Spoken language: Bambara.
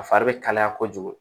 A fari bɛ kalaya kojugu